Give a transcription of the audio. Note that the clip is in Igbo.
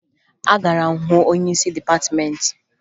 Agara m hụ onyeisi dịpatịmeentị